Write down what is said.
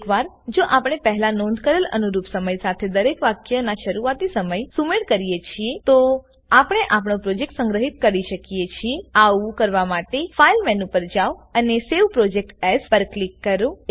એકવાર જો આપણે પહેલા નોંધ કરેલ અનુરૂપ સમય સાથે દરેક વાક્ય ના શરૂઆતી સમય સુમેળ કરીએ છીએ તોઆપણે આપણો પ્રોજેક્ટ સંગ્રહિત કી શકીએ છીએઆવું કરવા માટે ફાઇલ મેનુ પર જાઓ અને સવે પ્રોજેક્ટ એએસ પર ક્લિક કરો